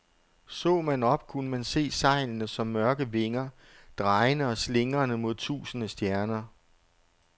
Så man op, kunne man se sejlene som mørke vinger, drejende og slingrende mod tusinde stjerner.